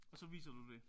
Og så viser du det